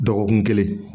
Dɔgɔkun kelen